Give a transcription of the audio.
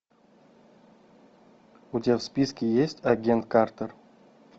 у тебя в списке есть агент картер